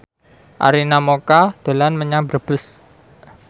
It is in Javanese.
Arina Mocca dolan menyang Brebes